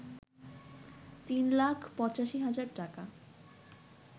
৩ লাখ ৮৫ হাজার টাকা